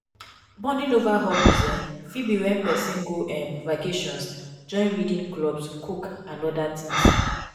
bonding over hobbies um fit be when person go um vacations join reading clubs cook and oda things